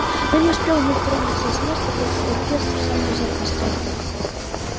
но не успел ник тронуться с места как оркестр сам внезапно стих